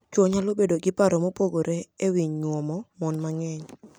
Chwo nyalo bedo gi paro mopogore e wii nyuomo mon mang'eny.